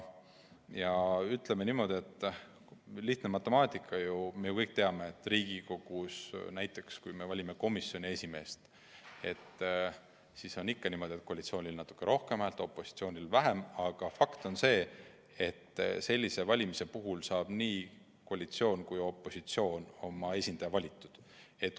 Ja ütleme niimoodi, et see on lihtne matemaatika – me ju kõik teame, et Riigikogus näiteks komisjoni esimeest valides on ikka niimoodi, et koalitsioonil on natuke rohkem hääli, opositsioonil vähem, aga fakt on see, et sellise valimise korral saab nii koalitsioon kui ka opositsioon oma esindaja valitud.